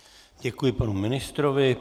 Děkuji panu ministrovi.